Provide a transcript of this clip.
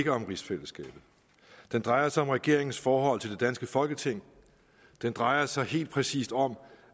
ikke om rigsfællesskabet den drejer sig om regeringens forhold til det danske folketing den drejer sig helt præcist om